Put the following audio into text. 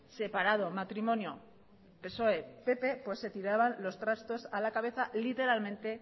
separado matrimonio psoe pp se tiraban los trastos a la cabeza literalmente